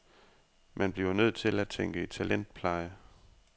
Man bliver nødt til at tænke i talentpleje.